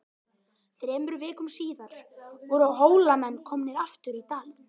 Þremur vikum síðar voru Hólamenn komnir aftur í Dali.